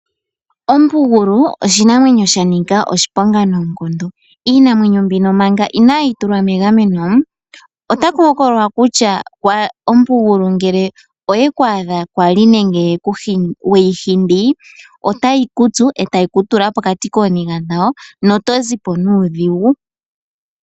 Ompugulu oshinamwenyo shanika oshipongo noonkondo. Iinamwenyo mbino manga ina yi tulwa megameno, ota ku hokololwa kutya ompugulu ngele oye ku adha kwali nenge weyi hindi, otayi kutsu e tayi kutula pokati kooniga dhawo na oto zipo nuudhigu.